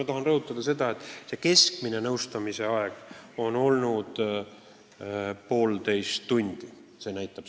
Ma tahan rõhutada, et keskmine nõustamise aeg on olnud poolteist tundi.